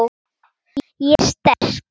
Ég er sterk.